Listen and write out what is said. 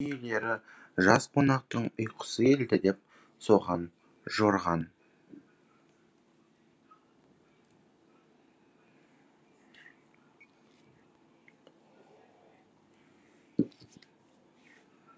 үй иелері жас қонақтың ұйқысы келді деп соған жорыған